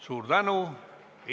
Suur tänu!